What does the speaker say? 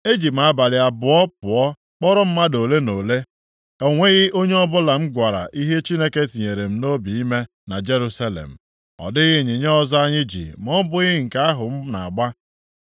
eji m abalị pụọ kpọrọ mmadụ ole na ole. O nwebeghị onye ọbụla m gwara ihe Chineke tinyere m nʼobi ime na Jerusalem. Ọ dịghị ịnyịnya ọzọ anyị ji ma ọ bụghị nke ahụ m na-agba.